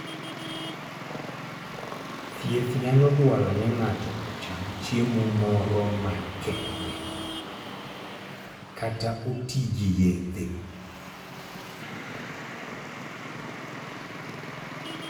Thieth nyalo dwaro ni ng'ato ocham chiemo moro makende kata oti gi yedhe.